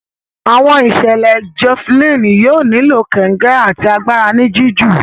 Àwọn ìṣẹlẹ Javelin yóò nilo kongẹ àti àgbàrá ní jiju.